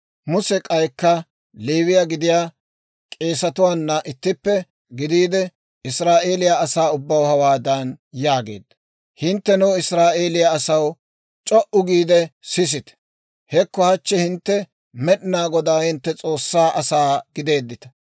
Muse k'aykka Leewiyaa gidiyaa k'eesetuwaana ittippe gidiide, Israa'eeliyaa asaa ubbaw hawaadan yaageedda; «Hinttenoo Israa'eeliyaa asaw, c'o"u giide sisite! Hekko hachchi hintte Med'inaa Godaa hintte S'oossaa asaa gideeddita.